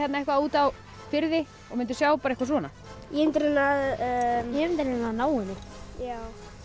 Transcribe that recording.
eitthvað út á firði og munduð sjá eitthvað svona ég mundi reyna að ná henni já